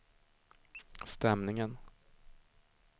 stämningen